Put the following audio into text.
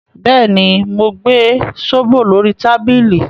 Bẹ́ẹ̀ ni, mo gbẹ zobo lórí tábìlì